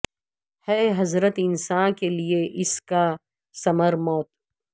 ہے حضرت انساں کے لیے اس کا ثمر موت